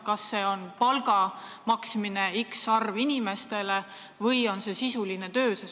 Kas see on palga maksmine x arvule inimestele või on see sisuline töö?